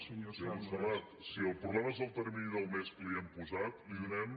senyora montserrat si el problema és el termini del mes que li hem posat li donarem